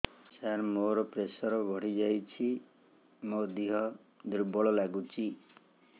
ସାର ମୋର ପ୍ରେସର ବଢ଼ିଯାଇଛି ମୋ ଦିହ ଦୁର୍ବଳ ଲାଗୁଚି